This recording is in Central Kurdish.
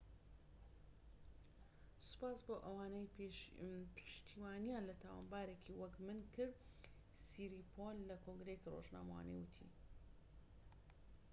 سوپاس بۆ ئەوانەی پشتیوانیان لە تاوانبارێکی وەک من کرد سیریپۆن لە کۆنگرەیەکی رۆژنامەوانی ووتی